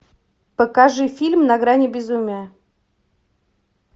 покажи фильм на грани безумия